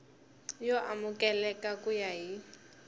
yo amukeleka ku ya hi